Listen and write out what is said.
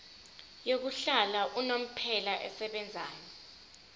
yokuhlala unomphela esebenzayo